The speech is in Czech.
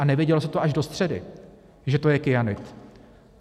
A nevědělo se to až do středy, že to je kyanid.